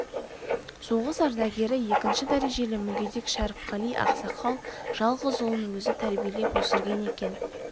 соғыс ардагері екінші дәрежелі мүгедек шәріпқали ақсақал жалғыз ұлын өзі тәрбиелеп өсірген екен